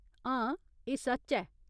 हां, एह् सच्च ऐ।